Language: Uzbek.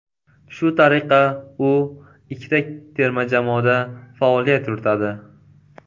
Shu tariqa u ikkita terma jamoada faoliyat yuritadi.